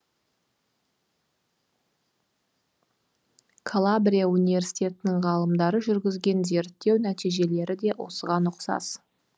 калабрия университетінің ғалымдары жүргізген зерттеу нәтижиелері де осыған ұқсас